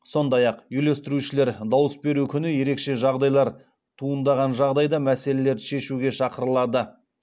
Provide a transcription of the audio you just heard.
сондай ақ үйлестірушілер дауыс беру күні ерекше жағдайлар туындаған жағдайда мәселелерді шешуге шақырылады